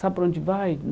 Sabe para onde vai?